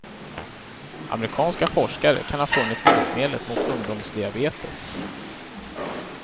Amerikanska forskare kan ha funnit botemedlet mot ungdomsdiabetes.